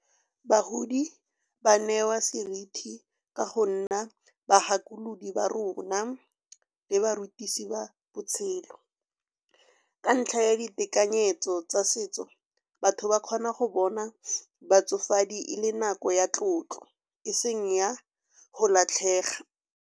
Bagodi ba newa seriti ka go nna bagakolodi ba rona le barutisi ba botshelo. Ka ntlha ya ditekanyetso tsa setso batho ba kgona go bona batsofadi e le nako ya tlotlo, eseng ya go latlhega.